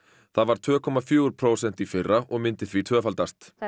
það var tveimur komma fjögur prósent í fyrra og myndi því tvöfaldast það er